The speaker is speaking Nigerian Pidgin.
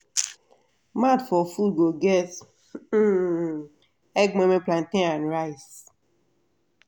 mat for food go get um egg moimoi plantain and rice.